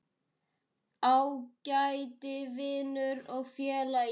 Ágæti vinur og félagi.